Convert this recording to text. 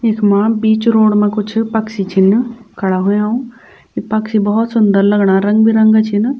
इखमा बीच रोड मा कुछ पक्षी छिन खड़ा हुयां यि पक्षी भौत सुन्दर लगणा रंग बिरंगा छिन।